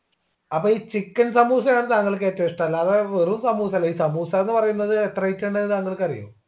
അപ്പൊ ഈ chicken സമൂസയാണ് താങ്കൾക്ക് ഏറ്റവും ഇഷ്ട്ടല്ലേ അത് വെറും സമൂസ അല്ലെങ്കിൽ സമൂസാന്ന് പറയുന്നത് എത്ര item ഉണ്ടെന്ന് താങ്കൾക്ക് അറിയോ